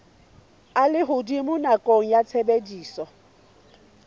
a lehodimo nakong ya tshebediso